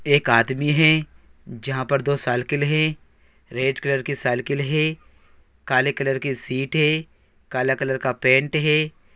एक आदमी है जहां पर दो सालकिल है रेड कलर की सालकिल है काले कलर के शटी है कला कलर का पेन्ट है।